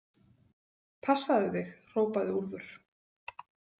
Passaðu þig, hrópaði Úlfur.